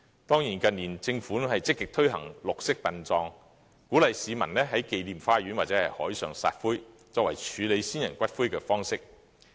當然，政府近年積極推行綠色殯葬，鼓勵市民在紀念花園或海上撒灰，作為處理先人骨灰的方式。